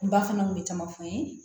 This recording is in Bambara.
N ba fana kun bɛ caman fɔ n ye